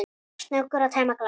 Snöggur að tæma glasið.